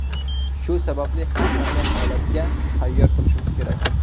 Shu sababli har qanday holatga tayyor turishimiz kerak.